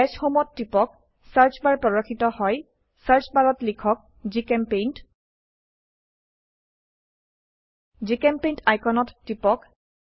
দাশ home ত টিপক search bar প্ৰদৰ্শিত হয় সাৰ্চ বাৰত লিখক জিচেম্পেইণ্ট জিচেম্পেইণ্ট আইকনত টিপক